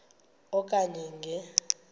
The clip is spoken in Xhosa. e okanye nge